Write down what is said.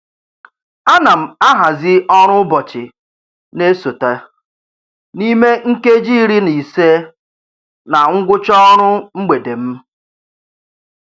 A na m ahazị ọrụ ụbọchị na-esote n'ime nkeji iri na ise na ngwụcha ọrụ mgbede m.